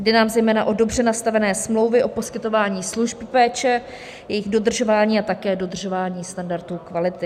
Jde nám zejména o dobře nastavené smlouvy o poskytování služby péče, jejich dodržování a také dodržování standardů kvality.